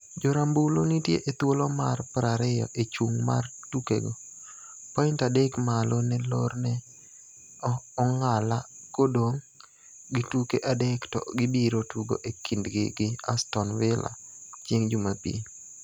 Jo rambulu nitie e thuolo mar 20 e chung' mar tukego, point adek malo ne lorne e ong'ala kodong' gi tuke adek to gibiro tugo e kindgi gi Aston Villa chieng' Jumapil.